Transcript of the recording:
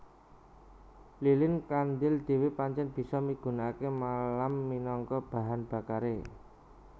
Lilin kandhil dhéwé pancèn bisa migunakaké malam minangka bahan bakaré